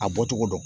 A bɔcogo dɔn